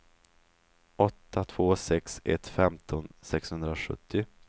åtta två sex ett femton sexhundrasjuttio